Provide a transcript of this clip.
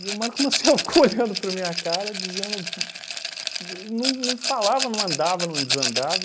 o Marco Maciel ficou olhando para a minha cara dizendo, di não não falava, não andava, não desandava,